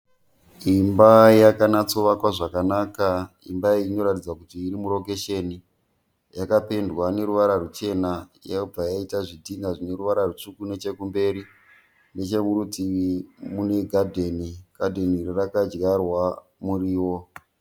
Imba yakanatsovakwa zvakanaka, imba iyi inoratidza kuti iri murokesheni yakapendwa neruwara ruchena yobva yaita zvidhinha zvine ruwara rutsvuku nechekumberi, nechekurutivi kune gadheni, gadheni iri rakadyarwa murio.